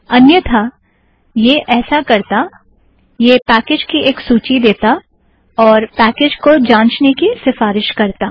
अन्यतः यह ऐसा करता - यह पैकेज़ की एक सूची देता और पैकेज़ को जांछने की सीफ़ारिश करता